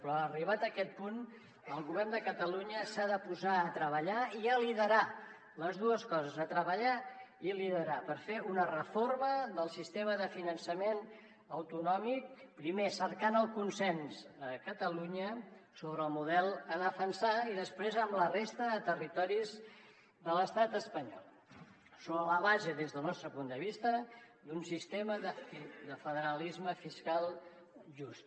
però arribat aquest punt el govern de catalunya s’ha de posar a treballar i a liderar les dues coses treballar i liderar per fer una reforma del sistema de finançament autonòmic primer cercant el consens a catalunya sobre el model a defensar i després amb la resta de territoris de l’estat espanyol sobre la base des del nostre punt de vista d’un sistema de federalisme fiscal just